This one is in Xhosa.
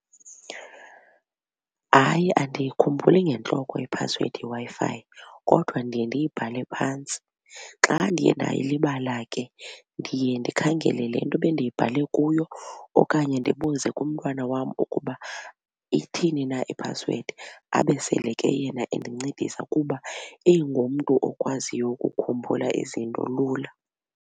Hayi, andiyikhumbuli ngentloko iphasiwedi yeWi-Fi kodwa ndiye ndiyibhale phantsi. Xa ndiye ndayilibala ke ndiye ndikhangele le nto bendiyibhale kuyo okanye ndibuze kumntwana wam ukuba ithini na iphasiwedi abe sele ke yena endincedisa kuba ingumntu okwaziyo ukukhumbula izinto lula.